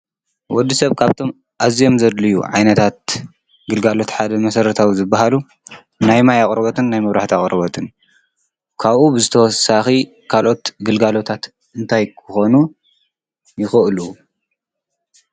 ወድሰብ ካብቶም ኣዝዮም ዘድልዩ ዓይነታት ግልጋሎት ሓደ መሰረታዊ ዝበሃሉ ናይ ማይ ኣቅርቦትን ናይ መብራህቲ ኣቅርቦትን እዩ። ካብኡ ብተወሳኺ ካልኦት ግልጋሎታት እንታይ ክኾኑ ይኽእሉ?